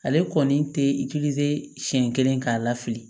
Ale kɔni tɛ siyɛn kelen k'a la fili